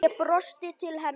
Ég brosti til hennar.